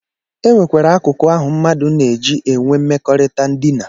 E nwekwara akụkụ ahụ mmadụ na-eji enwe mmekọrịta ndina